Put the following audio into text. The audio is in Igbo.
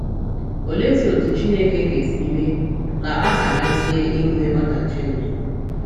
Oleezi otú Chineke ga - esi mee ka a gharazie inwe ọdachi n’ụwa?